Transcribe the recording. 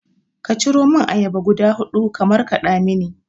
Ka ciromun ayaba guda huɗu ka markaɗa mini